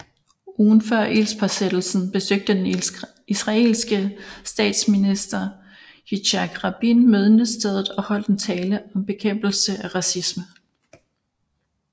Ugen før ildspåsættelsen besøgte den israelske statsminister Yitzhak Rabin mindestedet og holdt en tale om bekæmpelse af racisme